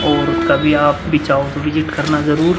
और कभी आप विजिट करना जरूर --